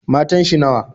Matan shi nawa?